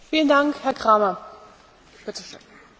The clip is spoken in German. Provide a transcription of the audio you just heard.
Frau Kommissarin, ich habe zwei konkrete Fragen an Sie.